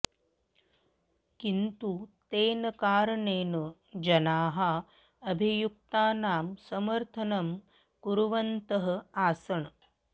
किन्तु तेन कारणेन जनाः अभियुक्तानां समर्थनं कुर्वन्तः आसन्